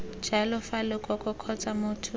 jalo fa lekoko kgotsa motho